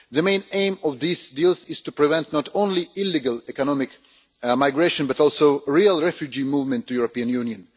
The main aim of this deal is to prevent not only illegal economic migration, but also a real refugee movement to the European Union.